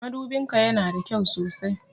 Madubin ka ya na da kyau sosai.